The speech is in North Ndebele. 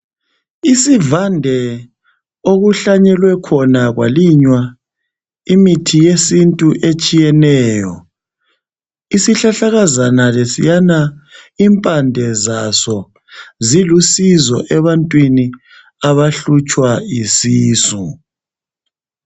Isivande okuhlanyelwe khona kwalinywa imithi yesintu etshiyeneyo isihlahlakazana lesiyana impande zaso zilusizo ebantwini abahlutshwa yisisu.